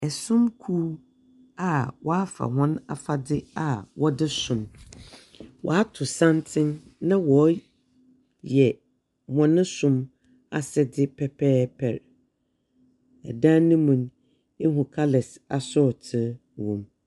Somkuw a wɔafa hɔn afadze a wɔdze som, wɔato santsen na wɔreyɛ wɔn som asɛdze pɛpɛɛpɛr. Dan no mu no, ihu colours asorɔtow wɔ mu.